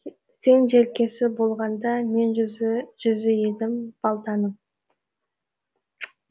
сен желкесі болғанда мен жүзі едім балтаның